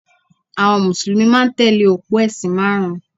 Àwọn Mùsùlùmí máa ń tẹ̀lé òpó ẹ̀sìn márùn-ún